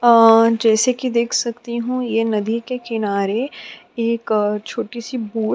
अ जैसे कि देख सकती हूं यह नदी के किनारे एक छोटी सी बोट --